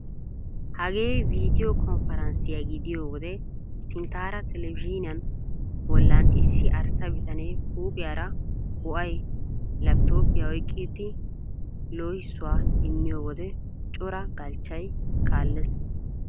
Hagee vidiyo konfaranssiya gidiyo wode sinttaara televizhzhiiniya bollan issi arssa bitanee huuphphiyara bo'ay laappitooppiya oyqqitidi loohissuwa immiyo wode cora galchchay kaallees.